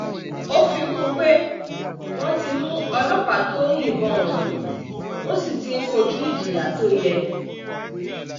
ó fi kún un pé wọ́n ti mú ọlọ́pàá tó yìnbọn ọ̀hún ó sì ti ń kojú ìjìyà tó yẹ